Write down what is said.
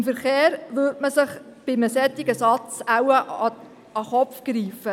Beim Verkehr würde man sich bei einem solchen Satz wohl an den Kopf greifen.